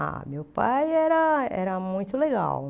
Ah, meu pai era era muito legal.